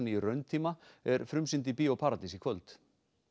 í rauntíma er frumsýnd í Bíó paradís í kvöld